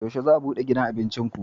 Yaushe za ku bude gidan abincin ku?